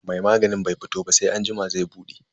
Mai maganin bai fito ba sai anjima zai bude.